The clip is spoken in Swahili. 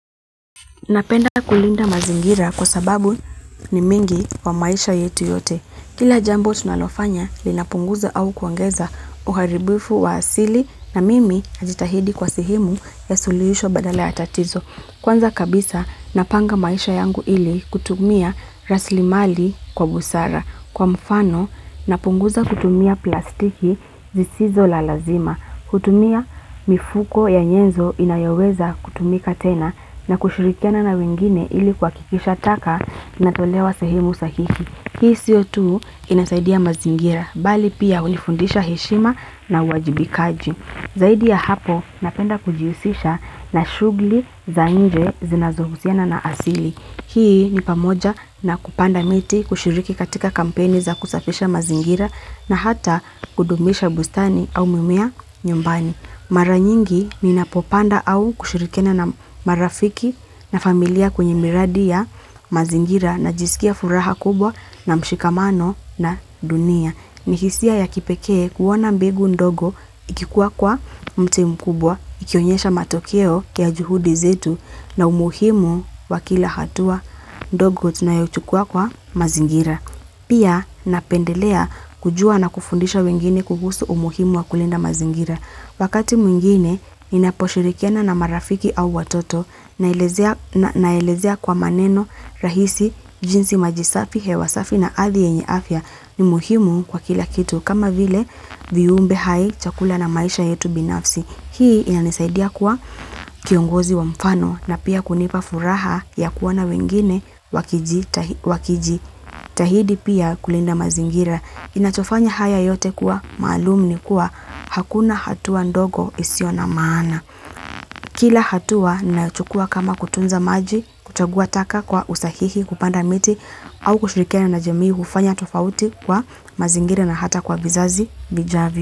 Napenda kulinda mazingira kwa sababu ni mingi wa maisha yetu yote. Kila jambo tunalofanya linapunguza au kuongeza uharibifu wa asili na mimi najitahidi kwa sehemu ya suluhisho badala ya tatizo. Kwanza kabisa napanga maisha yangu ili kutumia rasilimali kwa busara. Kwa mfano napunguza kutumia plastiki zisizo la lazima. Hutumia mifuko ya nyenzo inayoweza kutumika tena na kushirikiana na wengine ili kuhakikisha taka inatolewa sehemu sahihi. Hii sio tu inasaidia mazingira, bali pia hunifundisha heshima na uwajibikaji. Zaidi ya hapo, napenda kujihusisha na shughuli za nje zinazohusiana na asili. Hii ni pamoja na kupanda miti, kushiriki katika kampeni za kusafisha mazingira na hata kudumisha bustani au mimea nyumbani. Mara nyingi ninapopanda au kushirikiana na marafiki na familia kwenye miradi ya mazingira najisikia furaha kubwa na mshikamano na dunia. Ni hisia ya kipekee kuona mbegu ndogo ikikua kwa mti mkubwa, ikionyesha matokeo ya juhudi zetu na umuhimu wa kila hatua ndogo tunayochukua kwa mazingira. Pia napendelea kujua na kufundisha wengine kuhusu umuhimu wa kulinda mazingira. Wakati mwingine ninaposhirikiana na marafiki au watoto naelezea kwa maneno rahisi jinsi maji safi, hewa safi na ardhi yenye afya, ni muhimu kwa kila kitu, kama vile viumbe hai chakula na maisha yetu binafsi. Hii inanisaidia kuwa kiongozi wa mfano na pia kunipa furaha ya kuwa na wengine wakiji. Tahidi pia kulinda mazingira. Ninachofanya haya yote kuwa maalum ni kuwa hakuna hatua ndogo isiyo na maana. Kila hatua nachukua kama kutunza maji, kuchagua taka kwa usahihi, kupanda miti au kushirikiana na jamii hufanya tofauti kwa mazingira na hata kwa vizazi vijavyo.